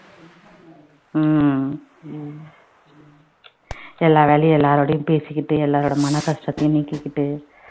உம் எல்லாராலையும் எல்லாரோடையும் பேசிக்கிட்டு எல்லாரோட மன கஷ்டத்தையும் நீக்கிக்கிட்டு